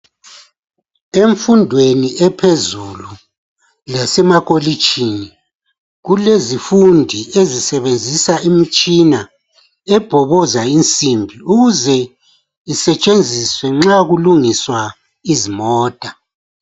Emfundweni ephezulu lasemacolitshini kulezifundi ezisebenzisa imitshina ebokoza insimbi ukuze isetshenziswe nxa kulungiswa izimota